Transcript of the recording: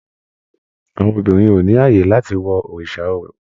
Àwọn obìnrin ò ní ààyè láti wo òrìṣà orò